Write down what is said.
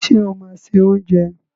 Ṣé o máa se oúnjẹ?